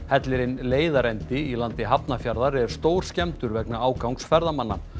hellirinn leiðarendi í landi Hafnarfjarðar er vegna ágangs ferðamanna